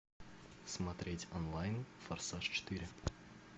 смотреть онлайн форсаж четыре